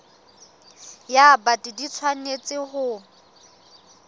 ya bt di tshwanetse ho